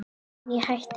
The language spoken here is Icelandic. En ég hætti við.